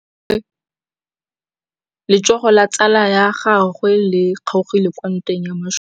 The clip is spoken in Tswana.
Letsôgô la tsala ya gagwe le kgaogile kwa ntweng ya masole.